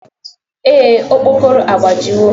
Ee, okpokoro agbajiwo